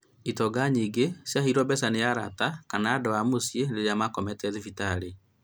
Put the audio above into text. Itonga nyingĩ ciaheirwo mbeca nĩ arata, kana andũ a mũciĩ rĩrĩa makomete thibitarĩ